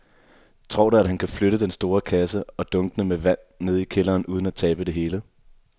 Tror du, at han kan flytte den store kasse og dunkene med vand ned i kælderen uden at tabe det hele?